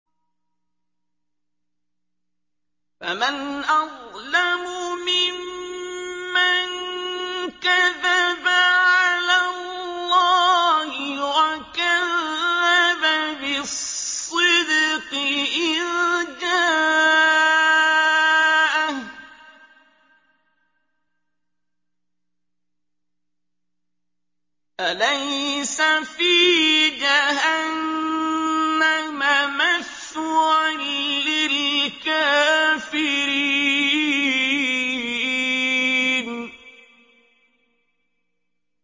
۞ فَمَنْ أَظْلَمُ مِمَّن كَذَبَ عَلَى اللَّهِ وَكَذَّبَ بِالصِّدْقِ إِذْ جَاءَهُ ۚ أَلَيْسَ فِي جَهَنَّمَ مَثْوًى لِّلْكَافِرِينَ